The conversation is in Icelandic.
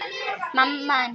Takk, elsku amma.